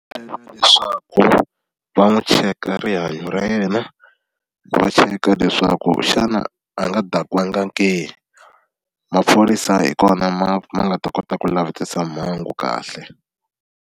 leswaku va n'wi cheka rihanyo ra yena, va cheka leswaku xana a nga dakiwangi ke? Maphorisa hi kona ma ma nga ta kota ku lavisisa mhangu kahle.